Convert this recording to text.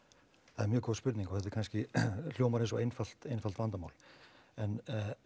það er mjög góð spurning og þetta kannski hljómar eins og einfalt einfalt vandamál en